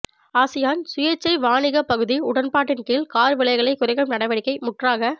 ASEAN சுயேச்சை வாணிகப் பகுதி உடன்பாட்டின் கீழ் கார் விலைகளைக் குறைக்கும் நடவடிக்கை முற்றாக